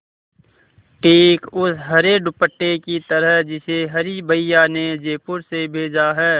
ठीक उस हरे दुपट्टे की तरह जिसे हरी भैया ने जयपुर से भेजा है